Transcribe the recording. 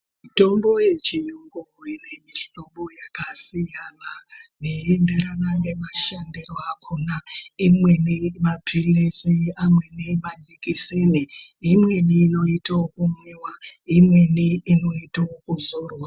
Mutombo yechiyungu ine mihlobo yakasiyana zveienderana nemashandiro akhona. Imweni maphilizi , amweni majikiseni , Imweni inoite okumwiwa ,imweni inoite okuzorwa.